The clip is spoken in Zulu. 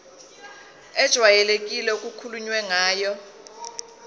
ejwayelekile okukhulunywe ngayo